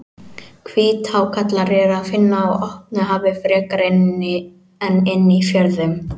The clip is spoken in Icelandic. Hvíthákarla er að finna á opnu hafi frekar en inni í fjörðum.